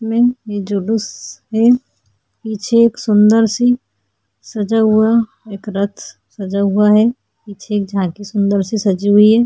में ये जो दुस है पीछे एक सूंदर सी सजा हुआ एक रथ सजा हुआ है पीछे एक झांकी सुंदर सी सजी हुई है।